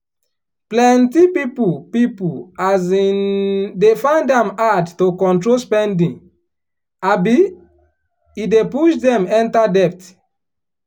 plenty people people um dey find am hard to control spending um e dey push dem enter debt.